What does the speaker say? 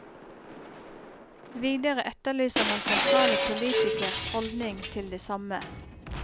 Videre etterlyser man sentrale politikeres holdning til det samme.